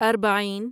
اربعین